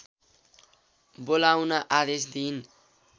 बोलाउन आदेश दिइन्